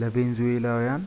ለቬንዙዌላውያን